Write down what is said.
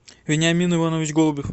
вениамин иванович голубев